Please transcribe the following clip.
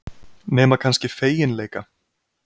Nema kannski feginleika.